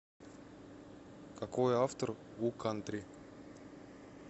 какой автор у кантри